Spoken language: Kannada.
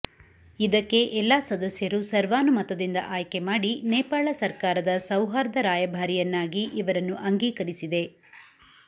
ಇದಕ್ಕೆ ಎಲ್ಲಾ ಸದಸ್ಯರು ಸರ್ವಾನುಮತದಿಂದ ಆಯ್ಕೆಮಾಡಿ ನೇಪಾಳ ಸರ್ಕಾರದ ಸೌಹಾರ್ದ ರಾಯಭಾರಿಯನ್ನಾಗಿ ಇವರನ್ನು ಅಂಗೀಕರಿಸಿದೆ